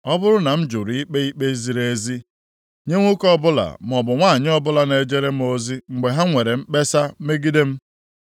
“Ọ bụrụ na m jụrụ ikpe ikpe ziri ezi nye nwoke maọbụ nwanyị ọbụla na-ejere m ozi mgbe ha nwere mkpesa megide m,